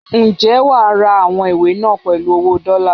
Ǹjẹ́ wà á ra àwọn ìwé náà pèlú owó dọ́lá?